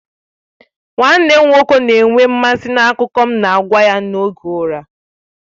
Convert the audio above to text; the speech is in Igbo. Nwanne m nwoke na-enwe mmasị n'akụkọ na-agwa ya n'oge ụra.